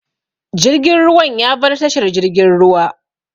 Jirgin ruwan ya bar tashar jirgin ruwa.